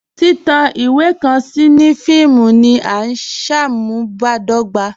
Titan iwe kan sí ní fíìmù ní à nṣámùbàdọ̀gbà